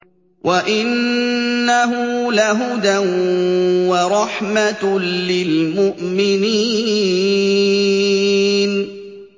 وَإِنَّهُ لَهُدًى وَرَحْمَةٌ لِّلْمُؤْمِنِينَ